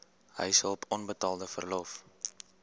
huishulp onbetaalde verlof